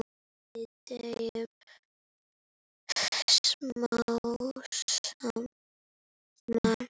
Við deyjum smám saman.